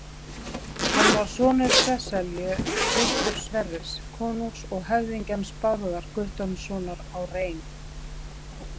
Hann var sonur Sesselju, systur Sverris konungs og höfðingjans Bárðar Guttormssonar á Rein.